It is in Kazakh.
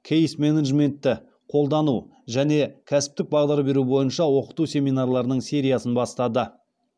кейс менеджментті қолдану және кәсіптік бағдар беру бойынша оқыту семинарларының сериясын бастады